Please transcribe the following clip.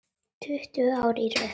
Tuttugu ár í röð.